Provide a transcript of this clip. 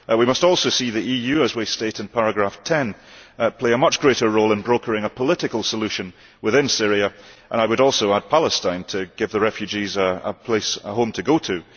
We must also see the EU, as we state in paragraph 10, play a much greater role in brokering a political solution within Syria, and I would also add Palestine to give the refugees a home to go to.